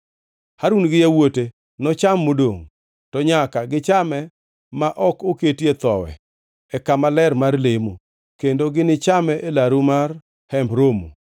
Harun gi yawuote nocham modongʼ, to nyaka gichame ma ok oketie thowi e kama ler mar lemo; kendo ginichame e laru mar Hemb Romo.